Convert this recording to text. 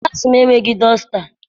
Klassi m enweghị dọsta.